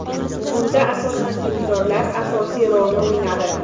Bunda asosan dindorlar asosiy rolni o‘ynadi.